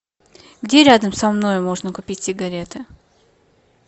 где рядом со мной можно купить сигареты